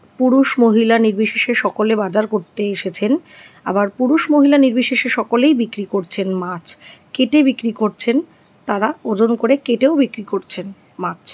পুরুষ মহিলা নির্বিশেষে সকলে বাজার করতে এসেছেন । আবার পুরুষ মহিলা নির্বিশেষে সকলেই বিক্রি করছেন মাছ । কেটে বিক্রি করছেন। তারা ওজন করে কেটেও বিক্রি করছেন মাছ।